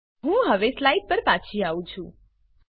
હું હવે સ્લાઈડ પર પાછી આવી છું